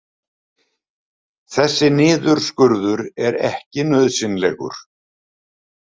Þessi niðurskurður er ekki nauðsynlegur